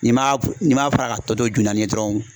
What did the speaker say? N'i m'a fara ka tɔ to ju naani ye dɔrɔn